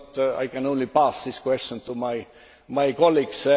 I can only pass this question to my colleagues.